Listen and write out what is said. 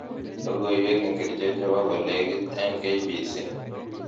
Logoiwek ingircho chebo kolekit eng k.b.c